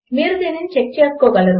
మీరు దీనిని చెక్ చేసుకోగలరు